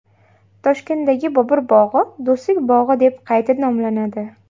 Toshkentdagi Bobur bog‘i Do‘stlik bog‘i deb qayta nomlanadi.